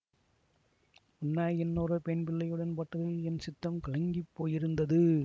உன்னை இன்னொரு பெண் பிள்ளையுடன் பார்த்ததில் என் சித்தம் கலங்கிப் போயிருந்தது